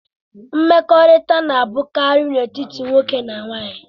Mkpakọrịta na-abụkarị n'etiti nwoke na nwaanyị.